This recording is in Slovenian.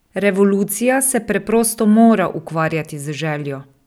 Revolucija se preprosto mora ukvarjati z željo!